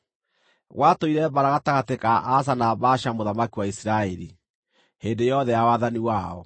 Gwatũire mbaara gatagatĩ ka Asa na Baasha mũthamaki wa Isiraeli, hĩndĩ yothe ya wathani wao.